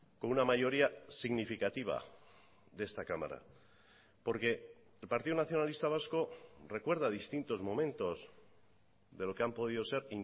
con una mayoría significativa de esta cámara porque el partido nacionalista vasco recuerda distintos momentos de lo que han podido ser